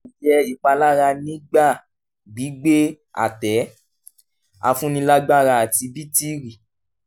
kò yẹ ìpalára nígbà gbígbé àtẹ-afúnilágbára àti bítìrì.